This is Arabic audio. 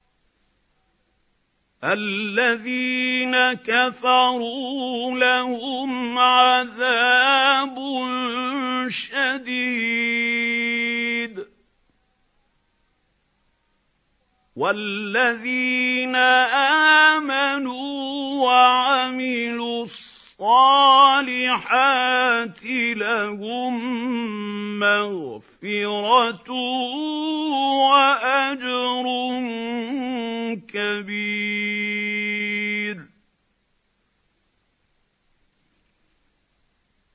الَّذِينَ كَفَرُوا لَهُمْ عَذَابٌ شَدِيدٌ ۖ وَالَّذِينَ آمَنُوا وَعَمِلُوا الصَّالِحَاتِ لَهُم مَّغْفِرَةٌ وَأَجْرٌ كَبِيرٌ